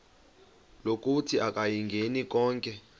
lokuthi akayingeni konke